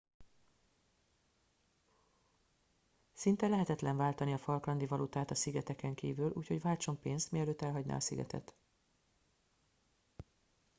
szinte lehetetlen váltani a falklandi valutát a szigeteken kívül úgyhogy váltson pénzt mielőtt elhagyná a szigetet